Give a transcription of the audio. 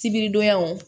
Sibiridonyaw